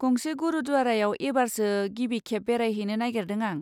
गंसे गुरुद्वारायाव एबारसो गिबि खेब बेरायहैनो नागिरदों आं।